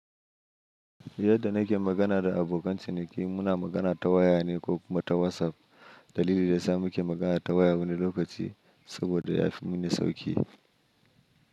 Yadda nake magana da abokan ciniki, muna magana ta waya ne ko kuma ta WhatsApp. Dalili da yasa muke magana ta waya wani lokaci saboda ya fi mini sauƙi.